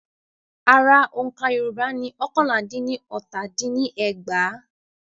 Ara òǹkà Yorùbá ni ọ́kànlá dín ní ọta din ní ẹgbàá.